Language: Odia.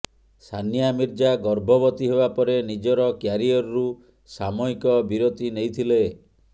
ସାନିଆ ମିର୍ଜା ଗର୍ଭବତୀ ହେବାପରେ ନିଜର କ୍ୟାରିଅରରୁ ସାମୟିକ ବିରତି ନେଇଥିଲେ